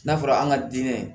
N'a fɔra an ka diinɛ